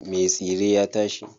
Me tsire ya tashi.